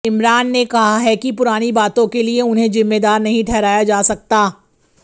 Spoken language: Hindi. इमरान ने कहा है कि पुरानी बातों के लिए उन्हें जिम्मेदार नहीं ठहराया जा सकता